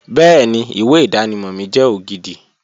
Bẹ́ẹ̀ni, ìwé ìdánimọ̀ mi jẹ́ ògidì